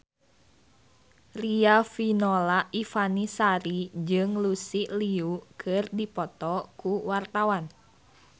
Riafinola Ifani Sari jeung Lucy Liu keur dipoto ku wartawan